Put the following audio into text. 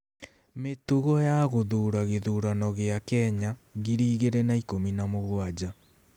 Mĩtugo ya Gũthuura gĩthurano kĩa Kenya 2017